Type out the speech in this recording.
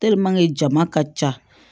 jama ka ca